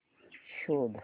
शोध